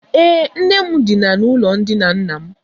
Ee, nne m dina n’ụlọ ndina nna m.